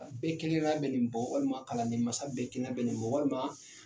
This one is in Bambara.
Bɛɛ kelen kelenna bɛ nin bɔ walima kalandenmansa bɛɛ kelen kelenna bɛ nin bɔ walima